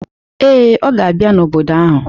Ee, ọ ga abia n'obodo ahụ